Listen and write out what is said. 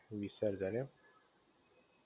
વિસર્જન એમ?